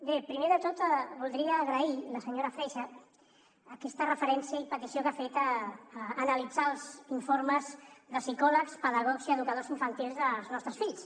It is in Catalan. bé primer de tot voldria agrair a la senyora freixa aquesta referència i petició que ha fet d’analitzar els informes de psicòlegs pedagogs i educadors infantils dels nostres fills